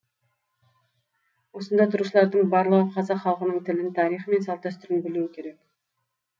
осында тұрушылардың барлығы қазақ халқының тілін тарихы мен салт дәстүрін білуі келек